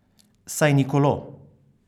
Saj ni kolo!